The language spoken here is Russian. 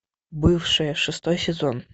бывшая шестой сезон